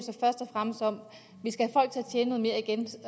fremmest om